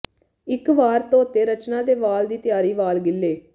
ਇੱਕ ਵਾਰ ਧੋਤੇ ਰਚਨਾ ਦੇ ਵਾਲ ਦੀ ਤਿਆਰੀ ਵਾਲ ਗਿੱਲੇ